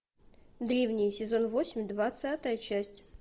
древние сезон восемь двадцатая часть